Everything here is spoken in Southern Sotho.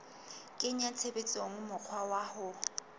kenya tshebetsong mokgwa wa ho